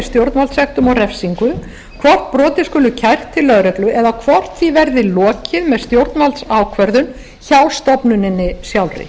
stjórnvaldssektum og refsingu hvort brotið skuli kært til lögreglu eða hvort því verði lokið með stjórnvaldsákvörðun hjá stofnuninni sjálfri